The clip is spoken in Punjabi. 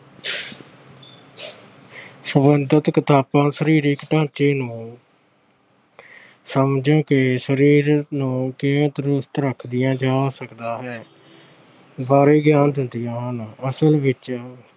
ਸਬੰਧਤ ਕਿਤਾਬਾਂ ਸਰੀਰਕ ਢਾਂਚੇ ਨੂੰ ਸਮਝ ਕੇ ਸਰੀਰ ਨੂੰ ਕਿਵੇਂ ਤੰਦਰੁਸਤ ਰੱਖਿਆ ਜਾ ਸਕਦਾ ਹੈ, ਬਾਰੇ ਗਿਆਨ ਦਿੰਦੀਆਂ ਹਨ। ਅਸਲ ਵਿੱਚ